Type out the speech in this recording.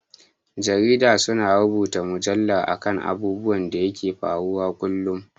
Jarida su na rubuta mujalla a kan abubuwan da ke faruwa kullum